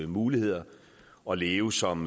muligheder og leve som